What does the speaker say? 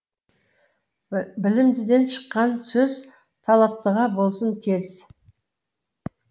білімдіден шыққан сөз талаптыға болсын кез